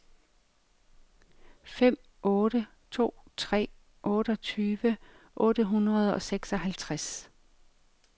fem otte to tre otteogtyve otte hundrede og seksoghalvtreds